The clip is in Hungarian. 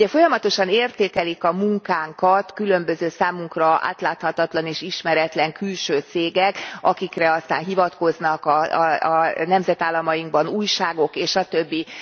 Ugye folyamatosan értékelik a munkánkat különböző, számunkra átláthatatlan és ismeretlen külső cégek, akikre aztán hivatkoznak a nemzetállamainkban újságok és a többi.